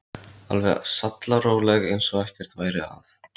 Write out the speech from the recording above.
Alveg sallaróleg eins og ekkert væri að.